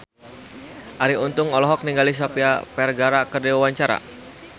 Arie Untung olohok ningali Sofia Vergara keur diwawancara